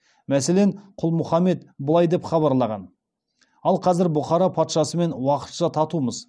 мәселен құл мұхамед былай деп хабарлаған ал қазір бұхара патшасымен уақытша татумыз